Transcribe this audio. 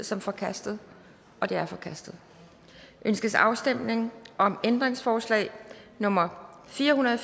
som forkastet det er forkastet ønskes afstemning om ændringsforslag nummer fire hundrede og